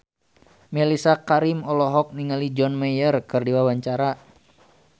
Mellisa Karim olohok ningali John Mayer keur diwawancara